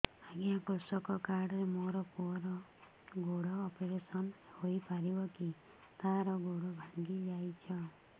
ଅଜ୍ଞା କୃଷକ କାର୍ଡ ରେ ମୋର ପୁଅର ଗୋଡ ଅପେରସନ ହୋଇପାରିବ କି ତାର ଗୋଡ ଭାଙ୍ଗି ଯାଇଛ